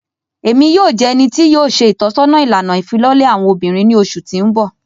Emi yoo jẹ ẹni ti yoo ṣe itọsọna ilana ifilọlẹ awọn obinrin ni oṣu ti n bọ.